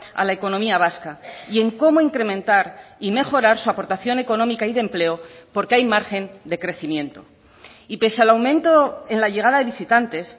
a la economía vasca y en cómo incrementar y mejorar su aportación económica y de empleo porque hay margen de crecimiento y pese al aumento en la llegada de visitantes